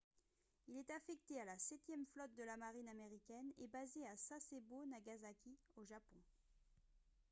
il est affecté à la septième flotte de la marine américaine et basé à sasebo nagasaki au japon